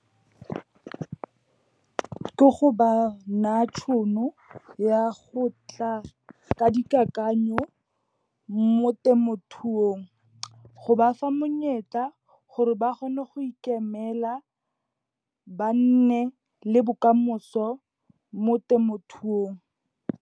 Ke go ba na tšhono, ya go tla ka dikakanyo mo temothuong. Go ba fa monyetla gore ba kgone go ikemela, ba nne le bokamoso mo temothuong.